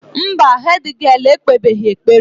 Mba, hédgịél ekpebeghị ekpere.